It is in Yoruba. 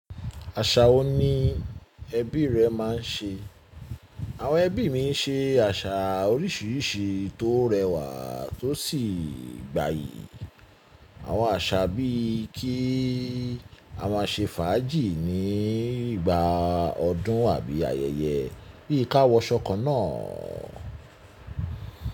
Àṣà wo ni ẹbí rẹ máa ń ṣe? Àwọn ẹbí mi ń ṣe àṣà oríṣiríṣi tó rẹwà tó sì gbayì. Àwọn àṣà bíi kí a máa ṣe fàájì ní ìgbà ọdún àbí ayẹyẹ, bí i káwọ ṣọkọ náà.